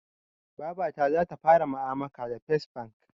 Babata zata fara ma'amaka da fes bank